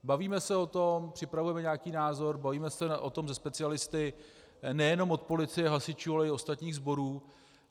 Bavíme se o tom, připravujeme nějaký názor, bavíme se o tom se specialisty nejenom od policie, hasičů, ale i ostatních sborů.